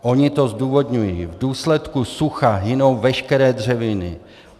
Oni to zdůvodňují: V důsledku sucha hynou veškeré dřeviny.